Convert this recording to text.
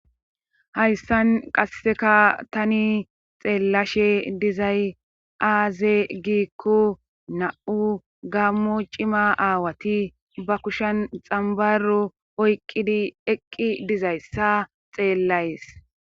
Hayssan qasseka tani xeellashe dizay aaze giikko na7u gammo cima aawati ba kushen xambaro oyqqidi eqqi dizayssa xeellays